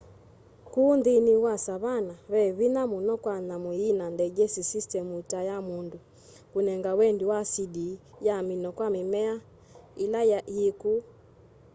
ku nthini wa savanna ve vinya muno kwa nyamu yina digestive systemu ta ya mundu kunega wendi wa acidi ya amino kwa mimea ila yi ku